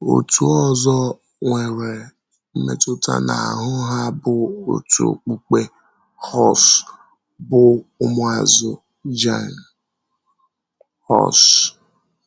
Òtù ọzọ nwere mmetụta n’ahụ́ ha bụ òtù okpukpe Hus, bụ́ ụmụazụ Jan Hus.